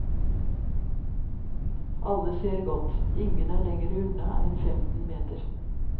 Alle ser godt, ingen er lengre unna enn femten meter.